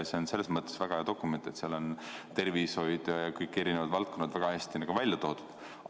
See on selles mõttes väga hea dokument, et seal on tervishoid ja kõik eri valdkonnad väga hästi välja toodud.